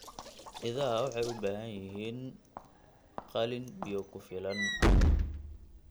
Idaha waxay u baahan yihiin qalin biyo ku filan leh.